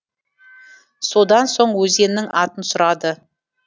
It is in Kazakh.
содан соң өзеннің атын сұрады